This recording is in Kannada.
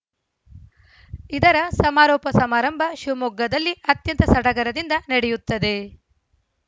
ಇದರ ಸಮಾರೋಪ ಸಮಾರಂಭ ಶಿವಮೊಗ್ಗದಲ್ಲಿ ಅತ್ಯಂತ ಸಡಗರದಿಂದ ನಡೆಯುತ್ತದೆ